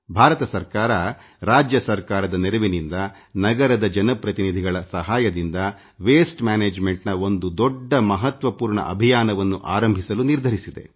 ಭಾರತ ಸರ್ಕಾರ ರಾಜ್ಯ ಸರ್ಕಾರದ ನೆರವಿನಿಂದ ನಗರದ ಜನಪ್ರತಿನಿಧಿಗಳ ಸಹಾಯದಿಂದ ತ್ಯಾಜ್ಯ ನಿರ್ವಹಣೆಯ ಒಂದು ದೊಡ್ಡ ಮಹತ್ವ ಪೂರ್ಣ ಅಭಿಯಾನವನ್ನು ಆರಂಭಿಸಲು ನಿರ್ಧರಿಸಿದೆ